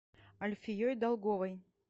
альфией долговой